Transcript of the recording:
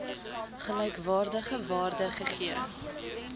gelykwaardige waarde gegee